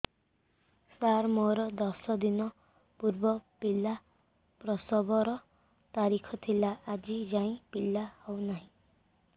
ସାର ମୋର ଦଶ ଦିନ ପୂର୍ବ ପିଲା ପ୍ରସଵ ର ତାରିଖ ଥିଲା ଆଜି ଯାଇଁ ପିଲା ହଉ ନାହିଁ